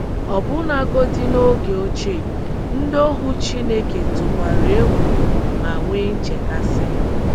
Ọbụnagodị n’oge ochie, ndị ohu Chineke tụkwara egwu ma nwee nchekasị.